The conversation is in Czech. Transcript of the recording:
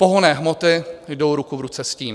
Pohonné hmoty jdou ruku v ruce s tím.